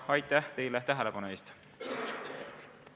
Aitäh teile tähelepanu eest!